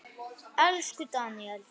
Elsku Daníel.